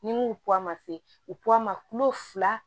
Ni n ko ma se u ma kulo fila